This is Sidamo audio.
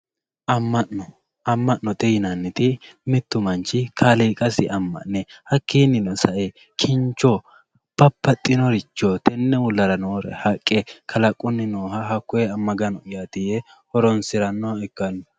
amma'no amma'note yinanniti mittu manchi kaaliiqasi amma'ne hakkiinnino sae kincho babbaxinore tenne uulla aana noore haqqe kalaqunni nooha hakkonne magano'yaati yee horonsirannoha ikkanno.